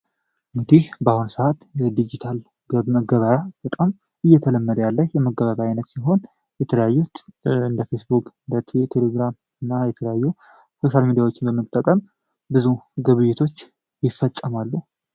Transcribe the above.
እንግዲህ በአሁኑ ሰዓት የዲጅታል መገበያያ በጣም እየተለመደ ያለ የመገበያያ የመገበያያ አይነት ሲሆን የተለያዩ እንደ ፌስቡክ ፣ቴሌግራም እና የተለያዩ ሶሻል ሚዲያዎችን በመጠቀም ብዙ ግብይቶች ይፈፀማሉ።